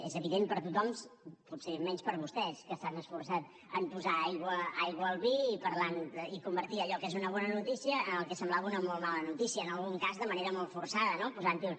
és evident per a tothom potser menys per a vostès que s’han esforçat en posar aigua al vi i convertir allò que és una bona notícia en el que semblava una molt mala notícia en algun cas de manera molt forçada no posant hi un